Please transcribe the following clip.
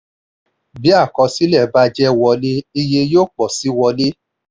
bí àkọsílẹ̀ bá jẹ́ wọlé iye yóò pọ̀ sí wọlé.